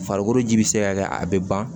Farikolo ji bɛ se ka kɛ a bɛ ban